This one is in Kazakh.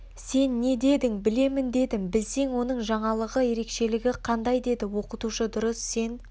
сен не дедің білемін дедім білсең оның жаңалығы ерекшелігі қандай деді оқытушы дұрыс сен